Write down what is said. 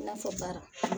I n'a fɔ baara